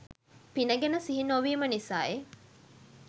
පින ගැන සිහිනොවීම නිසයි.